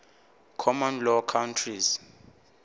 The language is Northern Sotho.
common law countries